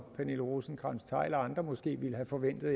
pernille rosenkrantz theil og andre måske ville have forventet